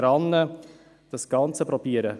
Und das tun wir nicht.